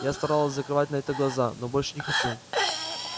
я старалась закрывать на это глаза но больше не хочу